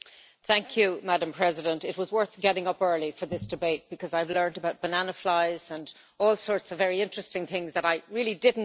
Madam President, it was worth getting up early for this debate because I have learned about banana flies and all sorts of very interesting things that I really did not know about.